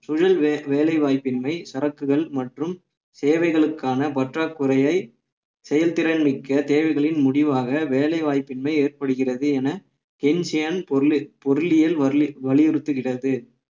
சுழல் வே~ வேலைவாய்ப்பின்மை சரக்குகள் மற்றும் சேவைகளுக்கான பற்றாக்குறையை செயல்திறன் மிக்க தேவைகளின் முடிவாக வேலை வாய்ப்பின்மை ஏற்படுகிறது என பொருல் பொருளியல் வலி~ வலியுறுத்துகிறது